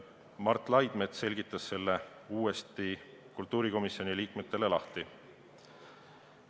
Mart Laidmets selgitas selle kultuurikomisjoni liikmetele uuesti lahti.